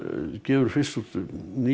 gefur fyrst út Nýja